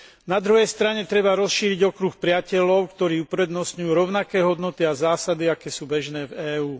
Na druhej strane treba rozšíriť okruh priateľov, ktorí uprednostňujú rovnaké hodnoty a zásady, aké sú bežné v EÚ.